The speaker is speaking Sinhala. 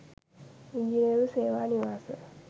ඉංජිනේරු සේවා නිවාස